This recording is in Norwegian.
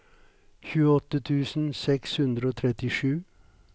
tjueåtte tusen seks hundre og trettisju